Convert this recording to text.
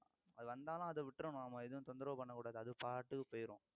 அது வந்தாலும் அதை விட்டுறணும் நம்ம எதுவும் தொந்தரவு பண்ணக் கூடாது அது பாட்டுக்கு போயிரும்